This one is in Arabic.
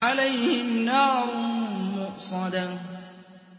عَلَيْهِمْ نَارٌ مُّؤْصَدَةٌ